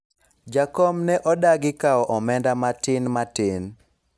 jakom ne odagi kawo omenda matin matin